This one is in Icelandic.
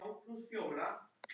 Ert þú ekkert ofvirk?